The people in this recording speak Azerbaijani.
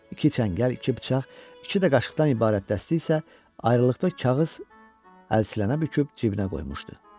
İki çəngəl, iki bıçaq, iki də qaşıqdan ibarət dəsti isə ayrılıqda kağız əlsiləyə büküb cibinə qoymuşdu.